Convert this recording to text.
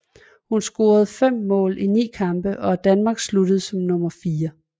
Hun scorede fem mål i ni kampe og Danmark sluttede som nummer 4